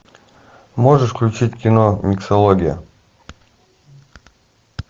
можешь включить кино миксология